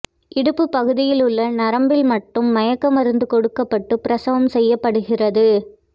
இடுப்புப் பகுதியிலுள்ள நரம்பில் மட்டும் மயக்க மருந்து கொடுக்கப்பட்டு பிரசவம் செய்யப்படுகிறது